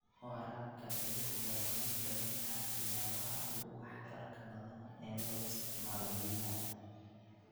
Waraabka dhibicda waa mid ka mid ah siyaabaha ugu waxtarka badan ee loo isticmaalo biyaha.